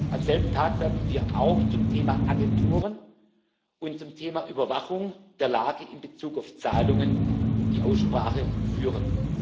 haben. Am selben Tag werden wir auch zum Thema Agenturen und zum Thema Überwachung der Lage in Bezug auf Zahlungen die Aussprache